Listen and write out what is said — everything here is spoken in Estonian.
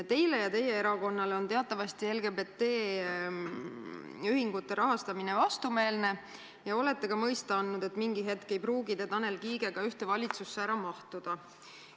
Teile ja teie erakonnale on teatavasti LGBT ühingute rahastamine vastumeelne ja olete ka mõista andnud, et mingi hetk ei pruugi te Tanel Kiigega ühte valitsusse ära mahtuda.